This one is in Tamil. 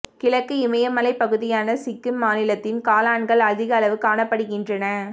கிழக்கு இமயமலைப் பகுதியான சிக்கிம் மாநிலத்தில் காளான்கள் அதிக அளவு காணப்படுகின்றன